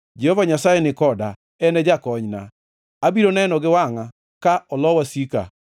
Jehova Nyasaye ni koda; en e Jakonyna. Abiro neno gi wangʼa ka olo wasika.